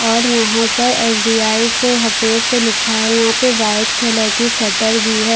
और यहाँं पर एस. बी. आई से सफेद से लिखा है यहाँं पर वाइट कलर की शटर भी है।